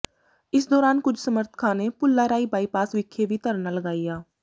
ਇਸ ਦੌਰਾਨ ਕੁਝ ਸਮੱਰਥਕਾਂ ਨੇ ਭੁੱਲਾਰਾਈ ਬਾਈਪਾਸ ਵਿਖੇ ਵੀ ਧਰਨਾ ਲਗਾਇਆ